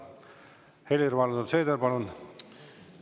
Helir-Valdor Seeder, palun!